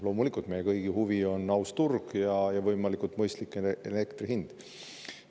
Loomulikult, meie kõigi huvi on aus turg ja võimalikult mõistlik elektri hind.